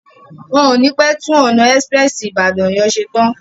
Wọ́n o ní pé tún ọ̀nà ẹ́sprẹ́sì Ìbàdàn sí Ọ̀yọ́ ṣe tán.